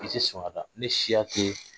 I tɛ sɔn ka taa ne siya tɛ